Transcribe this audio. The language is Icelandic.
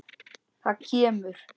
Það kemur.